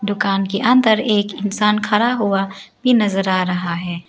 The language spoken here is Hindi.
दुकान के अंदर एक इंसान खड़ा हुआ भी नजर आ रहा है।